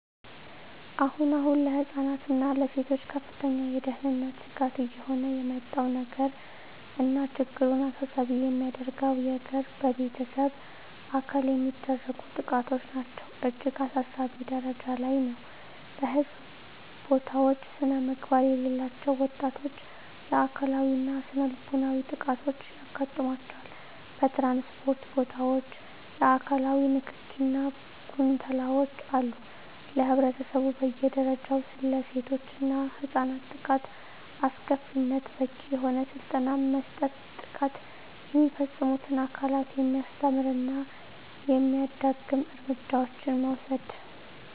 አሁን አሁን ለህፃናት እና ለሴቶች ከፍተኛ የደህንነት ስጋት እየሆነ የመጣው ነገር እና ችግሩን አሳሳቢ የሚያደርገው የገር በቤተሰብ አካል የሚደረጉ ጥቃቶች ናቸው እጅግ አሳሳቢ ጀረጃ ላይ ነው በህዝብ ቦታውች ስነምግባር የሌላቸው ወጣቶች የአካላዊ እና ስነልቦናዊ ጥቃቶች ያጋጥማቸዋል በትራንስፖርት ቦታወች የአካላዊ ንክኪ እና ጉንተላወች አሉ ለህብረተሰቡ በየ ደረጃው ስለሴቶች እና ህፃናት ጥቃት አስከፊነት በቂ የሆነ ስልጠና መስጠት ጥቃት የሚፈፅሙትን አካላት የሚያስተምር እና የማያዳግም እርምጃዎችን መውሰድ።